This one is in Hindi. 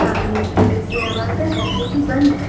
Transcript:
आमने की ओर एक दरवाजा है जो कि बंद है।